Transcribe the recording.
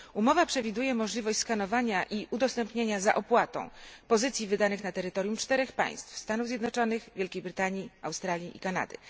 Umowa przewiduje możliwość skanowania i udostępniania za opłatą pozycji wydanych na terytorium 4 państw Stanów Zjednoczonych, Wielkiej Brytanii, Australii i Kanady.